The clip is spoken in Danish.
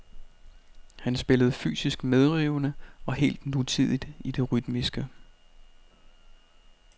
Han spillede fysisk medrivende og helt nutidigt i det rytmiske.